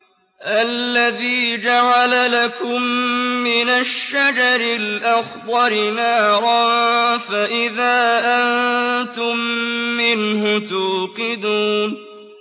الَّذِي جَعَلَ لَكُم مِّنَ الشَّجَرِ الْأَخْضَرِ نَارًا فَإِذَا أَنتُم مِّنْهُ تُوقِدُونَ